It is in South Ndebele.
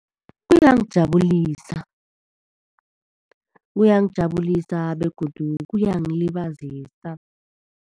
Kuyangijabulisa. Uyangijabulisa begodu kuyangilibazisa.